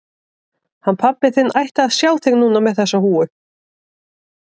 Hann pabbi þinn ætti að sjá þig núna með þessa húfu.